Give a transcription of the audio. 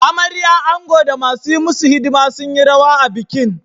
Amarya, ango, da masu yi musu hidima sun yi rawa a bikin.